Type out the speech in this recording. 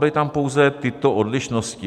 Byly tam pouze tyto odlišnosti.